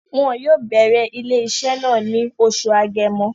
Wọn yóò bẹ̀rẹ̀ ilé-iṣẹ́ náà ní oṣù Agẹmọ